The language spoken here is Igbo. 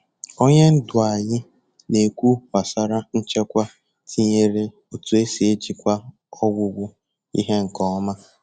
Onye ndu anyị na-ekwu gbasara nchekwa tinyere otu e si ejikwa ọgwụgwụ ihe nke ọma.